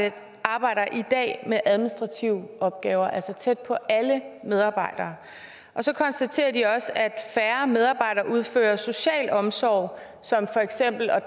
arbejder i dag med administrative opgaver altså tæt på alle medarbejdere og så konstaterer de også at færre medarbejdere udfører social omsorg som for eksempel at